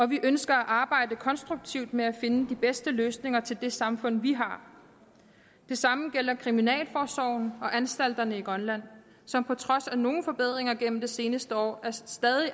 vi ønsker at arbejde konstruktivt med at finde de bedste løsninger til det samfund vi har det samme gælder kriminalforsorgen og anstalterne i grønland som på trods af nogle forbedringer gennem det seneste år stadig